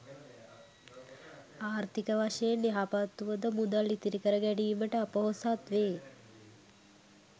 ආර්ථික වශයෙන් යහපත් වුවද මුදල් ඉතිරි කරගැනීමට අ‍පොහොසත් වේ.